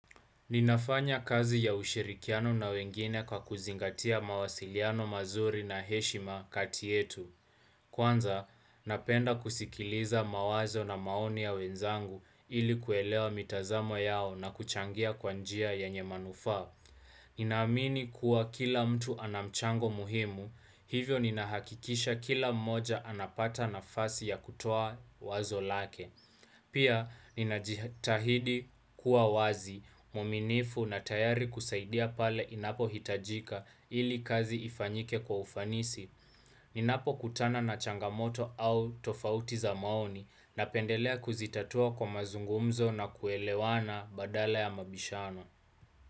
Ninafanya kazi ya ushirikiano na wengine kwa kuzingatia mawasiliano mazuri na heshima kati yetu. Kwanza, napenda kusikiliza mawazo na maoni ya wenzangu ili kuelewa mitazamo yao na kuchangia kwa njia yenye manufaa. Ninaamini kuwa kila mtu anamchango muhimu, hivyo ninahakikisha kila mmoja anapata nafasi ya kutoa wazo lake. Pia, ninajitahidi kuwa wazi, mwaminifu na tayari kusaidia pale inapo hitajika ili kazi ifanyike kwa ufanisi. Ninapo kutana na changamoto au tofauti za maoni na pendelea kuzitatua kwa mazungumzo na kuelewana badala ya mabishano.